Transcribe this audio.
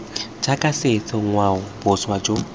jaaka setso ngwao boswa jo